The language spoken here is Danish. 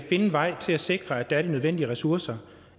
finde en vej til at sikre at der er de nødvendige ressourcer